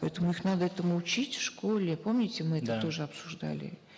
поэтому их надо этому учить в школе помните да мы это тоже обсуждали